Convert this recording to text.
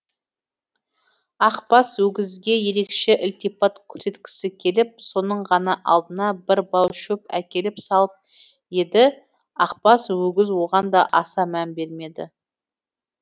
ақбас өгізге ерекше ілтипат көрсеткісі келіп соның ғана алдына бір бау шөп әкеліп салып еді ақбас өгіз оған да аса мән бермеді